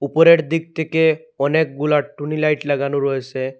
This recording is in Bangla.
উপরের দিক থেকে অনেকগুলা টুনি লাইট লাগানো রয়েসে।